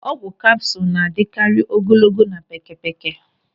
Ọgwụ kapsụl na-adịkarị ogologo na pékėpékė.